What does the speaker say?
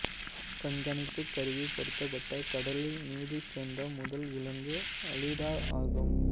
கண்காணிப்புக் கருவி பொருத்தப்பட்டு கடலில் நீந்திச்சென்ற முதல் விலங்கு அலிடா ஆகும்